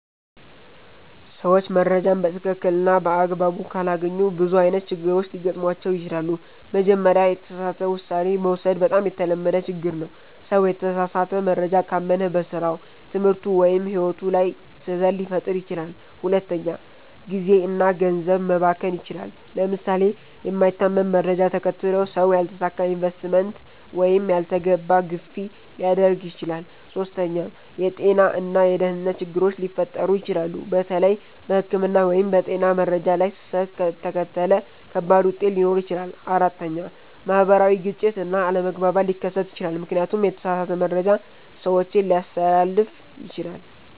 ሰዎች መረጃን በትክክል እና በአግባቡ ካላገኙ ብዙ አይነት ችግሮች ሊገጥሟቸው ይችላሉ። መጀመሪያ፣ የተሳሳተ ውሳኔ መውሰድ በጣም የተለመደ ችግር ነው። ሰው የተሳሳተ መረጃ ካመነ በስራው፣ ትምህርቱ ወይም ሕይወቱ ላይ ስህተት ሊፈጥር ይችላል። ሁለተኛ፣ ጊዜ እና ገንዘብ መባከን ይችላል። ለምሳሌ የማይታመን መረጃ ተከትሎ ሰው ያልተሳካ ኢንቨስትመንት ወይም ያልተገባ ግዢ ሊያደርግ ይችላል። ሶስተኛ፣ የጤና እና የደህንነት ችግሮች ሊፈጠሩ ይችላሉ። በተለይ በሕክምና ወይም በጤና መረጃ ላይ ስህተት ከተከተለ ከባድ ውጤት ሊኖር ይችላል። አራተኛ፣ ማህበራዊ ግጭት እና አለመግባባት ሊከሰት ይችላል፣ ምክንያቱም የተሳሳተ መረጃ ሰዎችን ሊያስተላልፍ ይችላል።